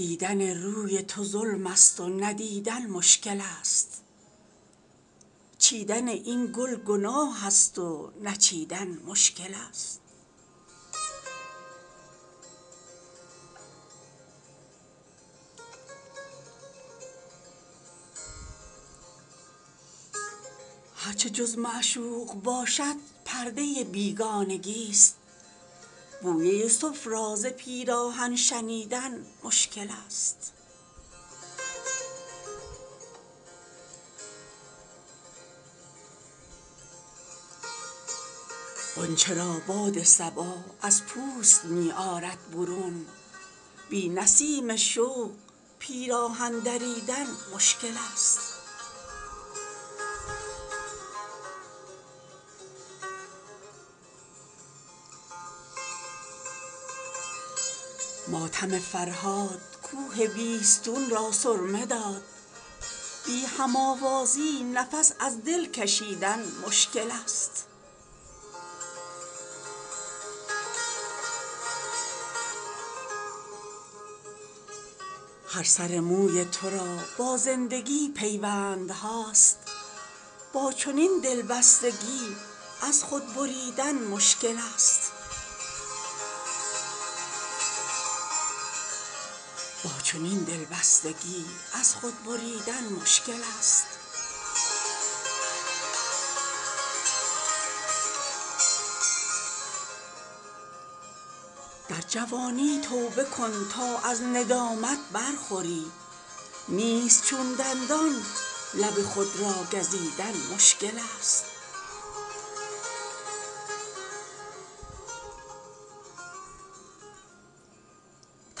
دیدن روی تو ظلم است و ندیدن مشکل است چیدن این گل گناه است و نچیدن مشکل است هر چه جز معشوق باشد پرده بیگانگی است بوی یوسف را ز پیراهن شنیدن مشکل است نیست از جوش شهیدان تیغ را میدان زخم در سر کویش به کام دل تپیدن مشکل است لامکان بر وحشیان عشق تنگی می کند در فضای آسمان از خود رمیدن مشکل است بی چراغان تجلی طور سنگ تفرقه است کعبه و بتخانه را بی یار دیدن مشکل است غنچه را باد صبا از پوست می آرد برون بی نسیم شوق پیراهن دریدن مشکل است بر ندارد میوه تا خام است دست از شاخسار زاهد ناپخته را از خود بریدن مشکل است هر که در قید خودآرایی گره گردید ماند آب را از پنجه گوهر چکیدن مشکل است عقل و دین و دل درین سودا کم از بیعانه است با چنین سرمایه یوسف را خریدن مشکل است بی قراران هر نفس در عالمی جولان کنند همچو بوی گل به یک جا آرمیدن مشکل است ماتم فرهاد کوه بیستون را سرمه داد بی هم آوازی نفس از دل کشیدن مشکل است در گلستانی که بوی گل گرانی می کند با قفس بر عندلیب ما پریدن مشکل است چشم خودبینی به هر ناکرده کاری داده اند کار عالم کردن و خود را ندیدن مشکل است بازوی همت ضعیف و تیغ جرأت شیشه دل با سلاحی این چنین از خود بریدن مشکل است تا گمان نیش خاری هست در دشت وجود همچو خون مرده یک جا آرمیدن مشکل است سایه بال هما در قبضه تسخیر نیست دامن دولت به سوی خود کشیدن مشکل است هر سر موی ترا با زندگی پیوندهاست با چنین دلبستگی از خود بریدن مشکل است با قیامت پاک کن اینجا حساب خویش را بر زمین از شرم عصیان خط کشیدن مشکل است در جوانی توبه کن تا از ندامت برخوری نیست چون دندان لب خود را گزیدن مشکل است